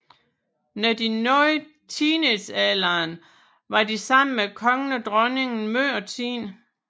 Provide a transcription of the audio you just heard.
Når de nåede teenagealderen var de sammen med kongen og dronningen meget af tiden